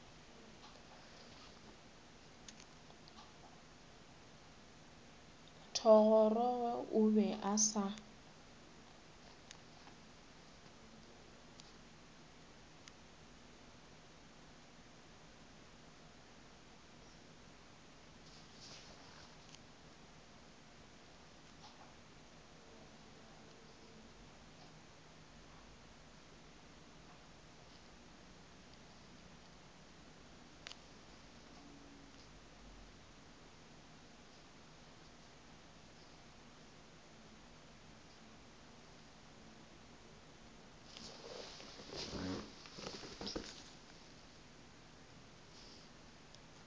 thogorogo o be a sa